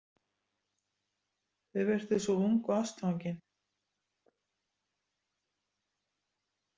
Þau virtust svo ung og ástfangin.